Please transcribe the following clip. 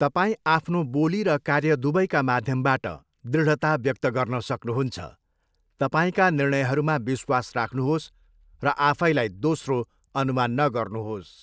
तपाईँ आफ्नो बोली र कार्य दुवैका माध्यमबाट दृढता व्यक्त गर्न सक्नुहुन्छ, तपाईँका निर्णयहरूमा विश्वास राख्नुहोस् र आफैलाई दोस्रो, अनुमान नगर्नुहोस्।